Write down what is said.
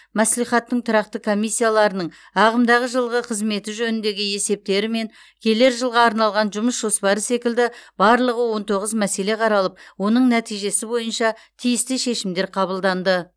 мәслихаттың тұрақты комиссияларының ағымдағы жылғы қызметі жөніндегі есептері мен келер жылға арналған жұмыс жоспары секілді барлығы он тоғыз мәселе қаралып оның нәтижесі бойынша тиісті шешімдер қабылданды